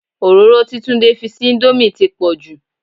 Òróró tí Tunde fi sí íńdómì ti pọ̀ jù.